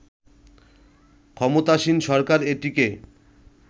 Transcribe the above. ক্ষমতাসীন সরকার এটিকে